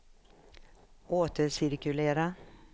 återcirkulera